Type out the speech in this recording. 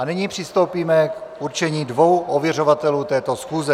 A nyní přistoupíme k určení dvou ověřovatelů této schůze.